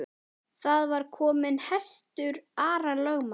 Þar var kominn hestur Ara lögmanns.